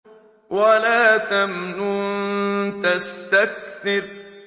وَلَا تَمْنُن تَسْتَكْثِرُ